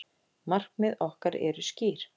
Markmið okkar eru skýr